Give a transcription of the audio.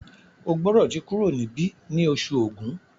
O gbódò tí kúrò nibi ní Oṣù Ògún!